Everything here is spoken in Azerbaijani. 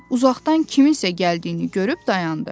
uzaqdan kimsə gəldiyini görüb dayandı.